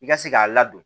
I ka se k'a ladon